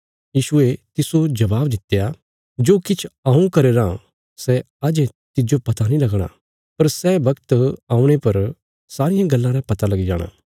यीशु ये तिस्सो जबाब दित्या जो किछ हऊँ करया राँ सै अजें तिज्जो पता नीं लगणा पर सै वक्त औणे पर सारियां गल्लां रा पता लगी जाणा